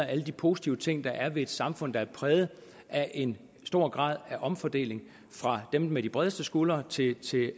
alle de positive ting der er ved et samfund der er præget af en stor grad af omfordeling fra dem med de bredeste skuldre til